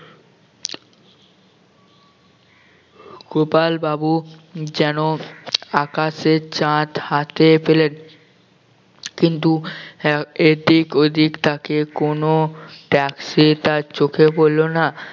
গোপাল বাবু যেন আকাশের চাঁদ হাতে পেলেন কিন্তু আহ এদিক ওদিক তাকিয়ে কোন taxi তার চোখে পড়লো না